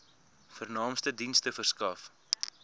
vernaamste dienste verskaf